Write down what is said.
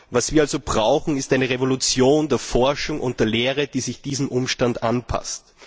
Was wir also brauchen, ist eine Revolution der Forschung und der Lehre, die sich diesem Umstand anpasst.